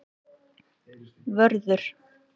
Vörður